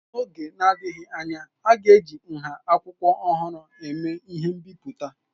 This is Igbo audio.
N'oge na-adịghị anya, a ga-eji nha akwụkwọ ọhụrụ eme ihe mbipụta.